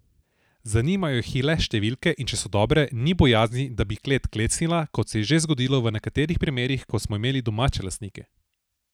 Zanimajo jih le številke in če so dobre, ni bojazni, da bi klet klecnila, kot se je že zgodilo v nekaterih primerih, ko smo imeli domače lastnike.